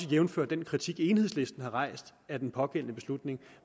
jævnfør den kritik enhedslisten har rejst af den pågældende beslutning